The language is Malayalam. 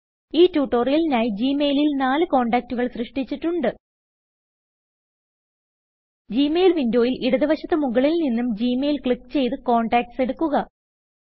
ഈ ട്യൂട്ടോറിയലിനായി ജി മെയിലിൽ നാല് കോണ്ടാക്റ്റുകൾ സൃഷ്ട്ടിച്ചിട്ടുണ്ട് ജി മെയിൽ വിന്ഡോയിൽ ഇടത് വശത്ത് മുകളിൽ നിന്നും ഗ്മെയിൽ ക്ലിക്ക് ചെയ്ത് കോണ്ടാക്ട്സ് എടുക്കുക